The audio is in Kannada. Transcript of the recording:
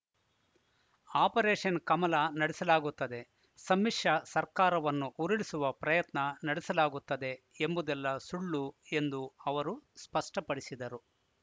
ಆಪರೇಷನ್‌ ಕಮಲ ನಡೆಸಲಾಗುತ್ತದೆ ಸಮ್ಮಿಶ ಸರ್ಕಾರವನ್ನು ಉರುಳಿಸುವ ಪ್ರಯತ್ನ ನಡೆಸಲಾಗುತ್ತದೆ ಎಂಬುದೆಲ್ಲ ಸುಳ್ಳು ಎಂದು ಅವರು ಸ್ಪಷ್ಟಪಡಿಸಿದರು